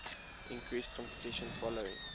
increased competition following